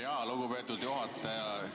Jaa, lugupeetud juhataja!